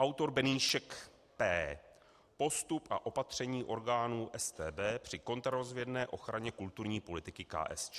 Autor BENÝŠEK, P.: Postup a opatření orgánů StB při kontrarozvědné ochraně kulturní politiky KSČ.